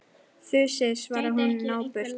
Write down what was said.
Þusið, svarar hún napurt.